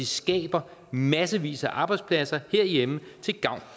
skaber massevis af arbejdspladser herhjemme til gavn